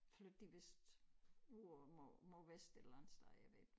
Flyttede de vist ud på mod mod vest et eller andet sted jeg ved det ikke